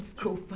Desculpa.